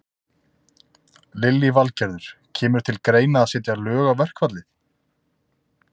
Lillý Valgerður: Kemur til greina að setja lög á verkfallið?